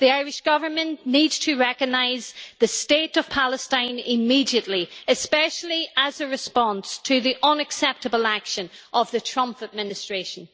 The Irish Government needs to recognise the State of Palestine immediately, especially as a response to the unacceptable action of the Trump administration.